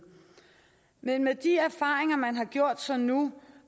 men med de erfaringer man har gjort sig nu